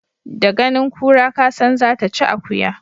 Da ganin kura kasan zata ci akuya.